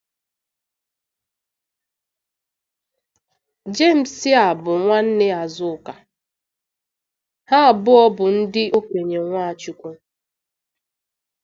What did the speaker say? Jemes a bụ nwanne Azuka, ha abụọ bụ ndị okenye Nwachukwu.